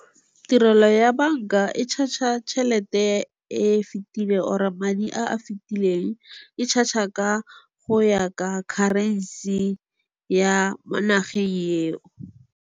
Tirelo ya banka e charge-a tšhelete e fetileng or-e madi a a fitileng. E charge-a go ya ka currency-e ya mo nageng eo.